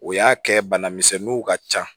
O y'a kɛ bana misɛnninw ka ca